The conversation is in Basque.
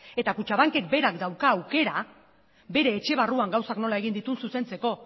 eta kutxabankek berak dauka aukera bere etxe barruan gauzak nola egin dituen zuzentzeko